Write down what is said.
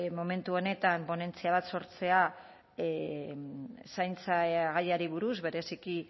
momentu honetan ponentzia bat sortzea zaintza gaiari buruz bereziki